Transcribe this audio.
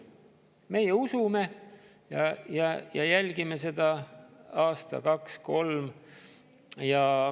Meie usume ja jälgime seda aasta, kaks, kolm.